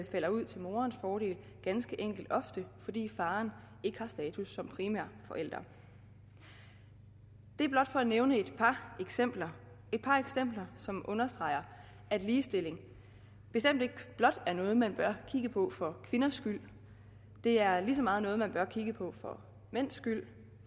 falder ud til morens fordel ganske enkelt ofte fordi faren ikke har status som primær forælder det er blot for at nævne et par eksempler som understreger at ligestillingen bestemt ikke blot er noget man bør kigge på for kvinders skyld det er lige så meget noget man bør kigge på for mænds skyld